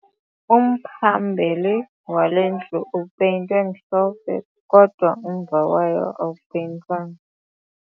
Umphambili wale ndlu upeyintwe mhlophe kodwa umva wayo awupeyintwanga